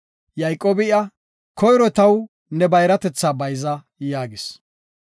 Yayqoobi iya, “Koyro taw ne bayratetha bayza” yaagis.